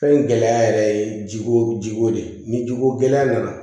Fɛn in gɛlɛya yɛrɛ ye jiko jiko de ye ni jiko gɛlɛya nana